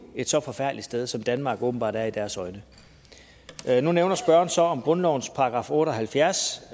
et så forfærdeligt sted som danmark åbenbart er i deres øjne nu nævner spørgeren så grundlovens § otte og halvfjerds